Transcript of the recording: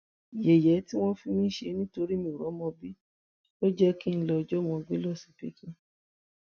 yẹyẹ tí wọn ń fi mí ṣe nítorí mi ò rọmọ bí ló jẹ kí n lọọ jọmọ gbé lọsibítù